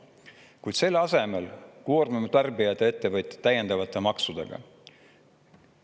Kuid selle asemel koormame tarbijaid ja ettevõtjad täiendavate maksudega.